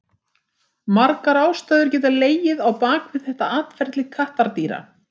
Margar ástæður geta legið á bak við þetta atferli kattardýra.